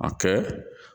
A kɛ